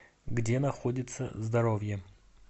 где находится здоровье